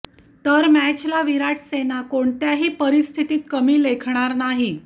तर मॅचला विराट सेना कोणत्याही परिस्थितीत कमी लेखणार नाही